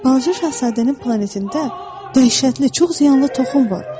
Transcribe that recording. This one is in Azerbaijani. Balaca Şahzadənin planetində dəhşətli, çox ziyanlı toxum var.